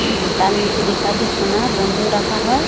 উম তার নিচে লেখা আছে সোনা বন্দক রাখা হয়।